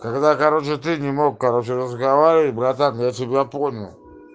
когда короче ты не мог короче разговариваю братан я тебя понял